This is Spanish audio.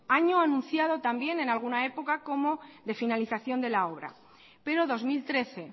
año anunciado también en alguna época como de finalización de la obra pero dos mil trece